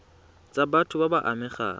tsa batho ba ba amegang